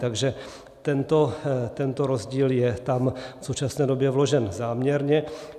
Takže tento rozdíl je tam v současné době vložen záměrně.